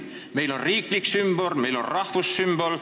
Meil on riiklik sümbol, meil on rahvussümbol.